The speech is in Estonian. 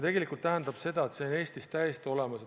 See tähendab seda, et see on ka Eestis täiesti olemas.